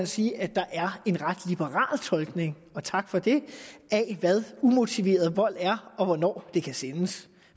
sige at der er en ret liberal tolkning og tak for det af hvad umotiveret vold er og hvornår det kan sendes